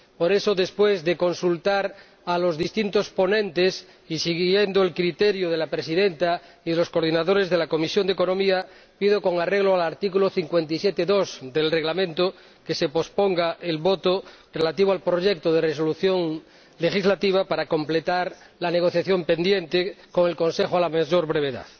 Por eso, después de consultar a los distintos ponentes y siguiendo el criterio de la presidenta y de los coordinadores de la Comisión de Asuntos Económicos y Monetarios, pido, con arreglo al artículo 57, apartado 2, del Reglamento, que se posponga la votación relativa al proyecto de Resolución legislativa para completar la negociación pendiente con el Consejo a la mayor brevedad.